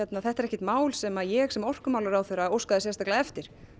þetta er ekki mál sem ég sem orkumálaráðherra óskaði sérstaklega eftir